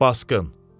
Basqın.